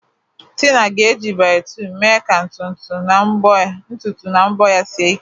Tina ga-eji Biotinu mee ka ntutu na mbọ ya sie ike.